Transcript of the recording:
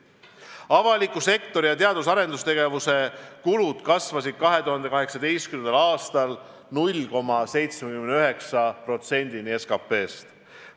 Avaliku sektori teadus- ja arendustegevuse kulud kasvasid 2018. aastal 0,79%-ni SKT-st.